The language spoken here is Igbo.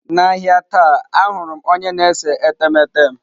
N'ahịa taa ahụrụ m onye na-ese etemeete m.